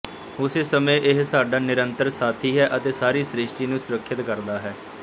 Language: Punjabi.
ਉਸੇ ਸਮੇਂ ਇਹ ਸਾਡਾ ਨਿਰੰਤਰ ਸਾਥੀ ਹੈ ਅਤੇ ਸਾਰੀ ਸ੍ਰਿਸ਼ਟੀ ਨੂੰ ਸੁਰੱਖਿਅਤ ਕਰਦਾ ਹੈ